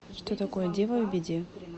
что такое дева в беде